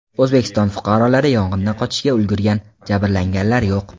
O‘zbekiston fuqarolari yong‘indan qochishga ulgurgan, jabrlanganlar yo‘q.